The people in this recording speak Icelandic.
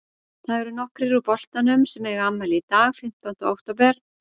Það eru nokkrir úr boltanum sem að eiga afmæli í dag fimmtánda október.